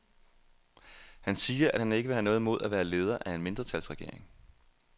Han siger, at han ikke vil have noget imod at være leder af en mindretalsregering.